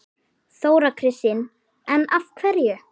Þóra Kristín: En af hverju?